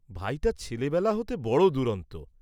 ভাইটা ছেলেবেলা হতে বড় দুরন্ত।